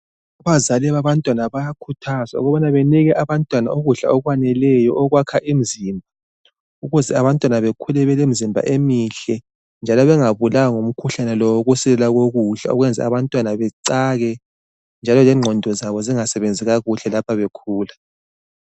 Abazali babantwana bayakhuthazwa ukubana benike abantwana ukudla okwaneleyo okwakha imzimba ukuze abantwana bekhule belemzimba emihle njalo bengabulawa ngumkhuhlane lowokuswela kokudla okwenza abantwana becake njalo lengqondo zabo zingasebenzi kakuhle lapho bekhula.